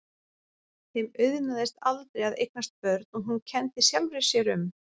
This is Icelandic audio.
Þeim auðnaðist aldrei að eignast börn og hún kenndi sjálfri sér um.